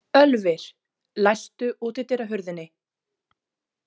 Ölvir, læstu útidyrahurðinni.